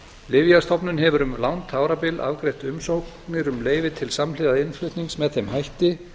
lyfjastofnun hefur um langt árabil afgreitt umsóknir um leyfi til samhliða innflutnings með þeim hætti